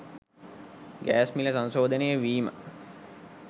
gas මිල සංශෝධනය වීම